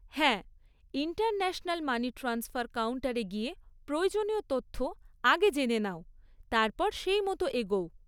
হ্যাঁ, international money transfer কাউন্টারে গিয়ে প্রয়োজনীয় তথ্য আগে জেনে নাও, তারপর সেইমতো এগোও।